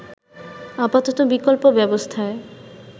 আপাতত বিকল্প ব্যবস্থায়